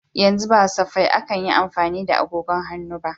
Yanzu ba safai akan yi amfani da agogon hannu ba.